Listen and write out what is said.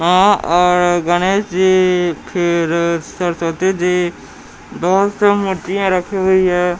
मा और गणेश जी फिर सरस्वती जी बहुत सी मूर्तियां रखी हुई है।